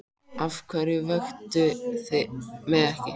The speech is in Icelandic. Af hverju vöktuð þið mig ekki?